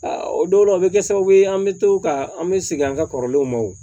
o dɔw la o bɛ kɛ sababu ye an bɛ to ka an bɛ segin an ka kɔrɔlenw ma wo